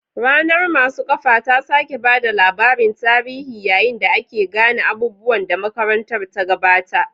Ranar masu kafa ta sake ba da labarin tarihi yayin da ake gane abubuwan da makarantar ta gabata.